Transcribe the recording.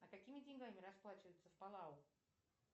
а какими деньгами расплачиваются в палау